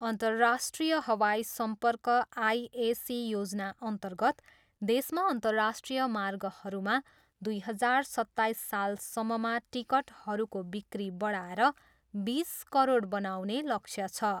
अन्तर्राष्ट्रिय हवाई सम्पर्क आइएसी योजनाअन्तर्गत देशमा अन्तराष्ट्रिय मार्गहरूमा दुई हजार सत्ताइस सालसम्ममा टिकटहरूको बिक्री बढाएर बिस करोड बनाउने लक्ष्य छ।